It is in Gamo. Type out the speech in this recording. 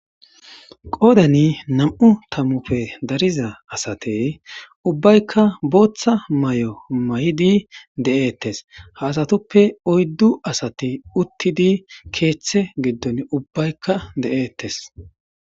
qoodani nam7u tamufe dariza asatey ubbaykka booththa may7o may7idi de7eettes ha asatuppe oyddu asati uttidi keeththe giddon ubbaykka de7eettes